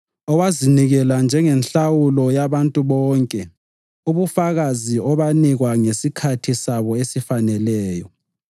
owazinikela njengenhlawulo yabantu bonke, ubufakazi obanikwa ngesikhathi sabo esifaneleyo.